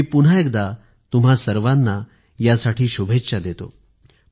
मी पुन्हा एकदा तुम्हा सर्वाना शुभेच्छा देतो